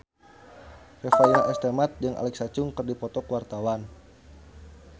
Revalina S. Temat jeung Alexa Chung keur dipoto ku wartawan